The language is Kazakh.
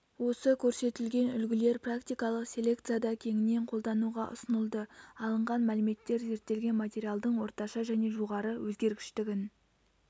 осы көрсетілген үлгілер практикалық селекцияда кеңінен қолдануға ұсынылды алынған мәліметтер зерттелген материалдың орташа және жоғары өзгергіштігін